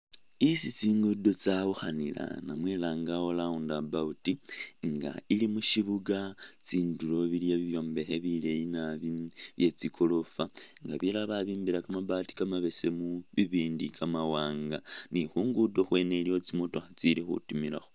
Isi tsingubo tsawukhanila namwe langawo round about nga ili mushibuga tsindulo iliwo bibyombekhe bileyi naabi byetsi goroofa nga bilala babimbila kamabaati kamabesemu bibindi kamawaanga ni khungudo khwene iliwo tsimotokha tsili khutimilakho